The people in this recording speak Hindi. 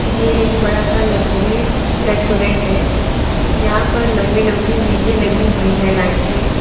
ये एक बड़ा सा लग्जरी रेस्टोरेंट है यहां पर लंबी लंबी मेजे लगी हुई हैं लाइन से।